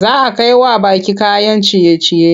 Za a kai wa baƙi kayan ciye-ciye.